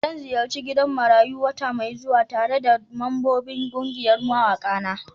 Zan ziyarci gidan marayu wata mai zuwa tare da mambobin kungiyar mawaka na.